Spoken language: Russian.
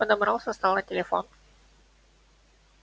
он подобрал со стола телефон